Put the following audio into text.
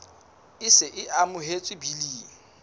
e se e amohetswe biling